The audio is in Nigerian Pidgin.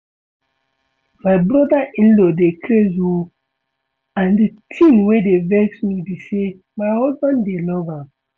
My brother in-law dey craze oo and the thing wey dey vex me be say my husband dey love am